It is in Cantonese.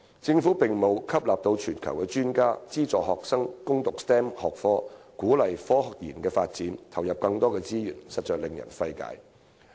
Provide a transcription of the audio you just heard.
政府並沒有在吸納全球專家、資助學生攻讀 STEM 學科及鼓勵科研發展方面投入更多資源，實在令人費解。